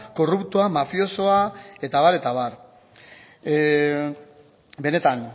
korruptoa mafiosoa eta abar eta abar benetan